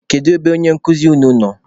Kedu ebe onye nkụzi unu nọ?